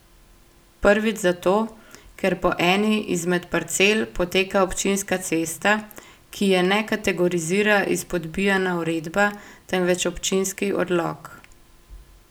Prvič zato, ker po eni izmed parcel poteka občinska cesta, ki je ne kategorizira izpodbijana uredba, temveč občinski odlok.